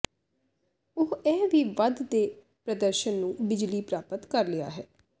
ਉਹ ਇਹ ਵੀ ਵੱਧ ਦੇ ਪ੍ਰਦਰਸ਼ਨ ਨੂੰ ਬਿਜਲੀ ਪ੍ਰਾਪਤ ਕਰ ਲਿਆ ਹੈ